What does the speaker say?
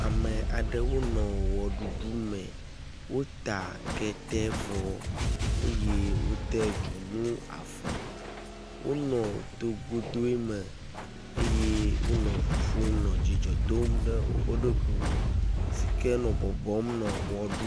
Ame aɖewo nɔ wɔɖuɖu me, wota ketevɔ eye wode dzonu afɔ. Wonɔ togodoe me eye wonɔ ʋuƒom nɔ dzidzɔ dom ɖe woƒe ɖokuiwo sike nɔ bɔbɔm nɔ wɛɖu.